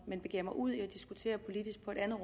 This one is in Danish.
men begiver mig ud i at diskutere politisk på et andet